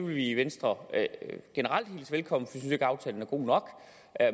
vi i venstre generelt hilse velkommen synes ikke aftalen er god nok